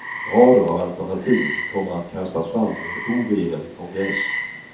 Rader av alternativ kommer att kastas fram i en oregerlig kongress.